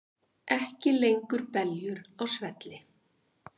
Ekki lengur beljur á svelli